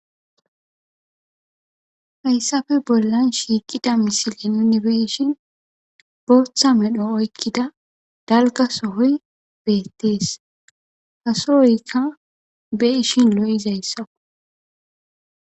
Hayssafe bollan shiiqida misile nunni beishin booththa medho oykkida dalga sohoy beettees hasohoykka be ishin lo'zaysskko.